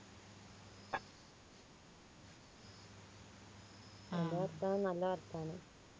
അമ്മോ അപ്പ നല്ല വർത്താനം